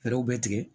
Fɛɛrɛw bɛ tigɛ